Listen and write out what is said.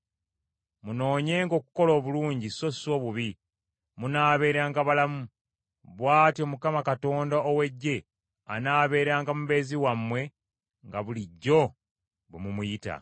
Munoonyenga okukola obulungi, so si obubi munaabeeranga balamu! Bw’atyo Mukama Katonda ow’Eggye anaabeeranga mubeezi wammwe nga bulijjo bwe mumuyita.